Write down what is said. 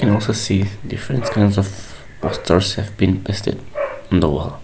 we can also see different kinds of our stores have been posted on the wall.